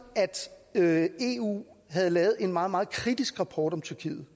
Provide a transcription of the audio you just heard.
at eu havde lavet en meget meget kritisk rapport om tyrkiet